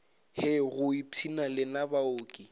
hei go ipshina lena baoki